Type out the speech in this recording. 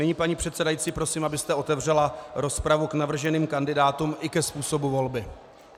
Nyní, paní předsedající, prosím, abyste otevřela rozpravu k navrženým kandidátům i ke způsobu volby.